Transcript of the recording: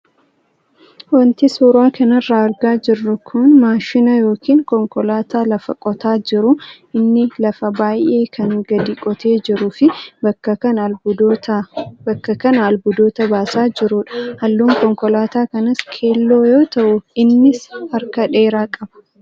Wanti suuraa kanarraa argaa jirru kun maashina yookaan konkolaataa lafa qotaa jiruu inni lafa baay'ee kan gadi qotee jiruu fi bakka kanaa albuudota baasaa jirudha. Halluun konkolaataa kanaas keelloo yoo ta'u, innis harka dheeraa qaba.